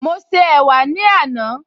Mo ṣe ẹ̀wà ní àná